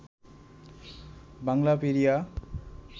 Banglapedia